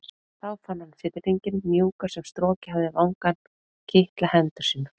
Þá fann hann fiðringinn mjúka sem strokið hafði vangann kitla hendur sínar.